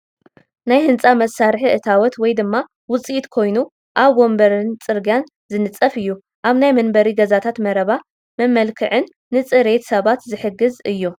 ናይ ህንፃ መሳርሒ እታወት ወይ ድማ ውፅኢት ኮይኑ ኣብ መንበርን ፅርግያን ዝንፀፍ እዩ፡፡ ኣብ ናይ መንበሪ ገዛታት መረባ መመልክዕን ንፅሬት ሰባት ዝሕግዝን እዩ፡፡